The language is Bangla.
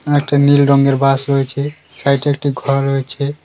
একটা নীল রঙের বাস রয়েছে সাইডে একটি ঘর রয়েছে।